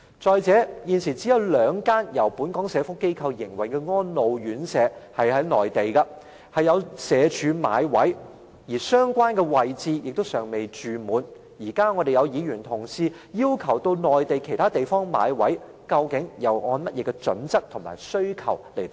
再者，現時內地只有兩間由本港社福機構營運的安老院舍社署有買位，而且相關舍位尚未滿額，議員今天要求社署到內地其他地方買位，究竟他們按甚麼準則提出這要求呢？